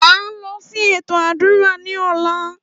À ń lọ sí ètò àdúrà ní ọ̀la